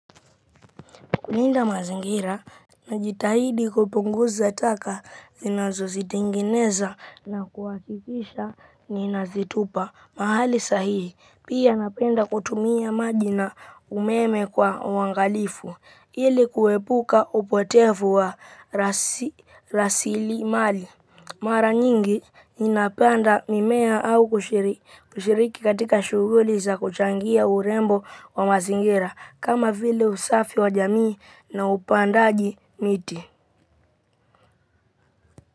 Kulinda mazingira, najitahidi kupunguza taka ninazozitengeneza na kuhakikisha ninazitupa. Mahali sahihi, pia napenda kutumia maji na umeme kwa uangalifu, ili kuepuka upotefu wa rasilimali. Mara nyingi ninapanda mimea au kushiriki katika shughuli za kuchangia urembo wa mazingira kama vile usafi wa jamii na upandaji miti.